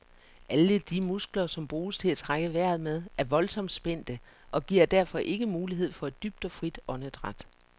Alle de muskler som bruges til at trække vejret med er voldsomt spændte, og giver derfor ikke mulighed for et dybt og frit åndedræt.